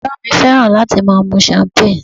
Bàbá mi fẹ́ràn láti máa mu champagne